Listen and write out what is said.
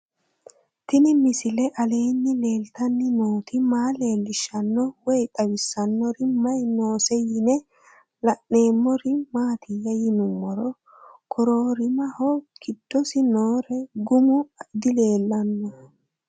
Tenni misile aleenni leelittanni nootti maa leelishshanno woy xawisannori may noosse yinne la'neemmori maattiya yinummoro koroorimmaho gidosi nooro gumu dileellanno